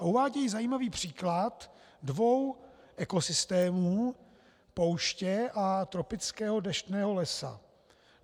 A uvádějí zajímavý příklad dvou ekosystémů, pouště a tropického deštného lesa.